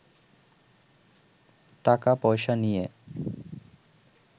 টাকা-পয়সা নিয়ে